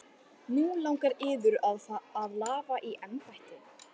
Nú langar yður að lafa í embætti?